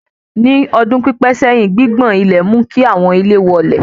Ní ọdún pípé sẹ́yìn, gbigbọn ilẹ̀ mú kí àwọn ilé wọlẹ̀